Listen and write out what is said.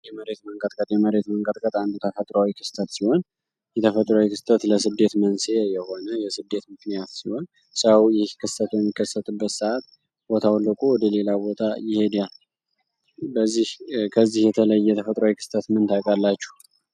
የመሬት መንቀጥቀጥ አንዱ ተፈጥሯዊ ክስተት ሲሆን፤ የተፈጥሮዊ ክስተት ለስደት መንስኤ የሆነ የስደት ምክንያት ሲሆን ሰው ይህ ክስተት የሚከሰትበት ሰአት ቦታውን ለቆ ወደ ሌላ ቦታ ይሄዳል። ከዚህ የተለየ የተፈጥሮ ምን ታውቃላችሁ?